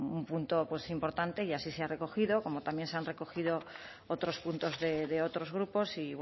un punto pues importante y así se ha recogido como también se han recogido otros puntos de otros grupos y